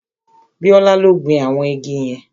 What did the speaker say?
Bíọ́lá ló gbin àwọn igi yẹn